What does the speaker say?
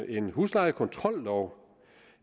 en huslejekontrollov